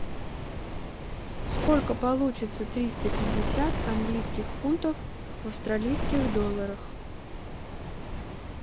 сколько получится триста пятьдесят английских фунтов в австралийских долларах